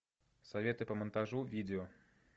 советы по монтажу видео